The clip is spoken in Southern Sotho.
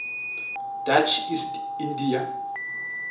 dutch east india